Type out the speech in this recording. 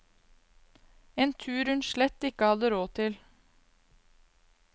En tur hun slett ikke hadde råd til.